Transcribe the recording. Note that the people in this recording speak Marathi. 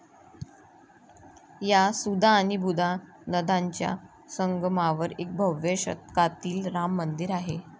या सुधा आणि बुधा नद्यांच्या संगमावर एक भव्य शतकातील राम मंदिर आहे.